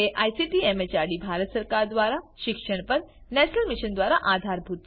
જેને ICT MHRD Bharat સરકાર મારફતે શિક્ષણ પર નેશનલ મિશન દ્વારા આધાર અપાયેલ છે